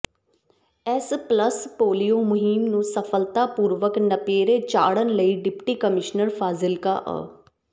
ਇਸ pulse polio ਮੁਹਿੰਮ ਨੂੰ ਸਫਲਤਾ ਪੂਰਵਕ ਨੇਪਰੇ ਚਾੜ੍ਹਨ ਲਈ ਡਿਪਟੀ ਕਮਿਸ਼ਨਰ ਫਾਜ਼ਿਲਕਾ ਅ